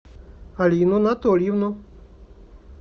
алину анатольевну